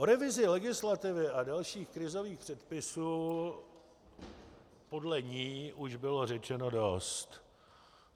O revizi legislativy a dalších krizových předpisů podle ní už bylo řečeno dost.